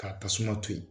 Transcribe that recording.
K'a tasuma to ye